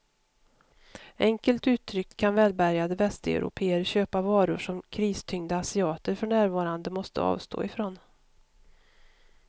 Enkelt uttryckt kan välbärgade västeuropéer köpa varor som kristyngda asiater för närvarande måste avstå ifrån.